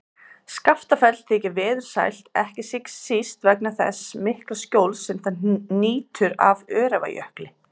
Skaftafell þykir veðursælt, ekki síst vegna þess mikla skjóls sem það nýtur af Öræfajökli.